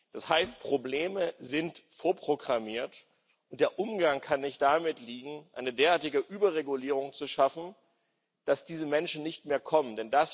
Das heißt, Probleme sind vorprogrammiert, und der Umgang damit kann nicht darin liegen, eine derartige Überregulierung zu schaffen, dass diese Menschen nicht mehr kommen.